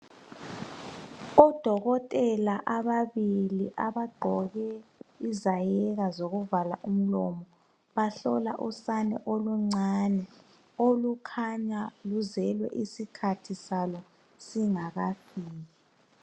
ODokotela ababili abagqoke izayeka zokuvala umlomo bahlola usana oluncane okukhanya luzelwe isikhathi salo singakafiki.